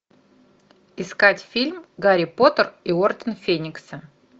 искать фильм гарри поттер и орден феникса